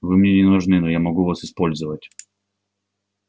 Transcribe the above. вы мне не нужны но я могу вас использовать